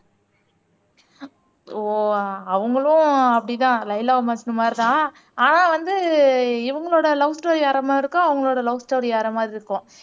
ஓ அவங்களும் அப்படித்தான் லைலா மஜ்னு மாதிரி தான் ஆனா வந்து இவங்களோட லவ் ஸ்டோரி வேற மாதிரி இருக்கும் அவங்களோட லவ் ஸ்டோரி வேற மாதிரி இருக்கும்